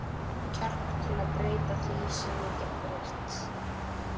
kjark til að breyta því, sem ég get breytt.